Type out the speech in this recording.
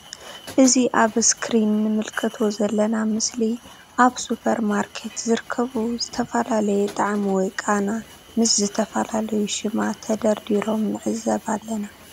እዚ ኣብ እስክሪን እንምልከቶ ዘለና ምስሊ ኣብ ሱፐር ማርኬት ዝርከቡ ዝተፈላለየ ጣዕሚ ወይ ቃና ምስ ዝተፈላለዩ ሽማት ተደርዲሮም ንዕዘብ ኣለና።